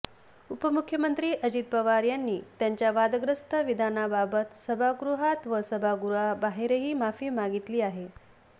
उपमुख्यमंत्री अजित पवार यांनी त्यांच्या वादग्रस्त विधानाबाबत सभागृहात व सभागृहाबाहेरही माफी मागितली आहे